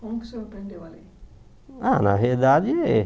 Como que o senhor aprendeu a ler? Ah na verdade